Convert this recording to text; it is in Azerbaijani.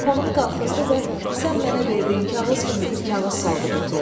Qapağını qaxızdı və sən mənə verdiyin kağız kimi bir kağız saldı qutuya.